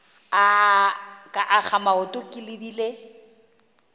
ka akga maoto ke lebile